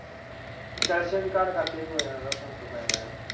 Fashion ਕਰਕੇ ਵੀ ਫਰਕ ਪਾ ਜਾਂਦਾ ਆ।